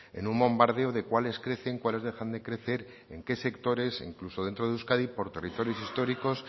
en un bombardeo de cuales crecen cuales dejan de crecer en qué sectores e incluso dentro de euskadi por territorios históricos